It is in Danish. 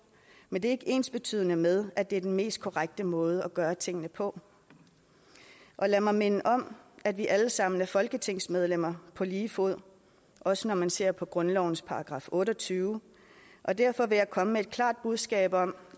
men det er ikke ensbetydende med at det er den mest korrekte måde at gøre tingene på og lad mig minde om at vi alle sammen er folketingsmedlemmer på lige fod også når man ser på grundlovens § otte og tyve og derfor vil jeg komme med et klart budskab om